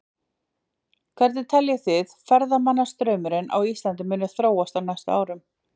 Hvernig teljið þið að ferðamannastraumurinn á Íslandi muni þróast á næstu árum?